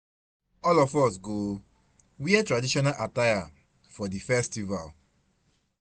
All of us go wear traditional attire for di festival.